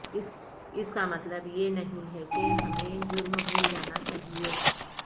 اس کا مطلب یہ نہیں ہے کہ ہمیں جرم بھول جانا چاہئے